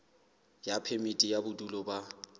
ya phemiti ya bodulo ba